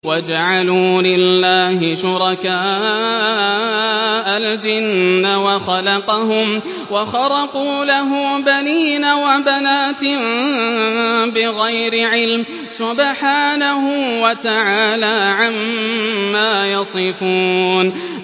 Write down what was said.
وَجَعَلُوا لِلَّهِ شُرَكَاءَ الْجِنَّ وَخَلَقَهُمْ ۖ وَخَرَقُوا لَهُ بَنِينَ وَبَنَاتٍ بِغَيْرِ عِلْمٍ ۚ سُبْحَانَهُ وَتَعَالَىٰ عَمَّا يَصِفُونَ